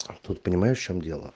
а тут понимаешь в чем дело